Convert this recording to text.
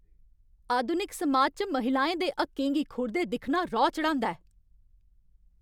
आधुनिक समाज च महिलाएं दे हक्कें गी खुरदे दिक्खना रौह् चढ़ांदा ऐ।